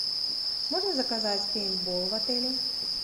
можно заказать пейнтбол в отеле